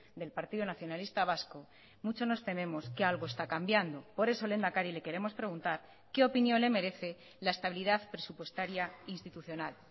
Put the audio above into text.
del partido nacionalista vasco mucho nos tememos que algo está cambiando por eso lehendakari le queremos preguntar qué opinión le merece la estabilidad presupuestaria institucional